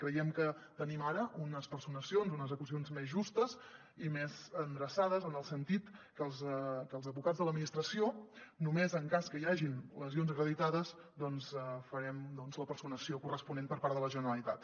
creiem que tenim ara unes personacions unes acusacions més justes i més endreçades en el sentit que els advocats de l’administració només en cas que hi hagin lesions acreditades doncs farem la personació corresponent per part de la generalitat